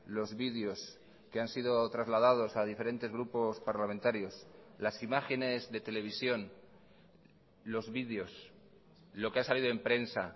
los videos que han sido trasladados a diferentes grupos parlamentarios las imágenes de televisión los videos lo que ha salido en prensa